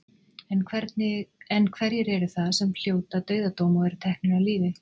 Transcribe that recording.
En hverjir eru það sem hljóta dauðadóm og eru teknir af lífi?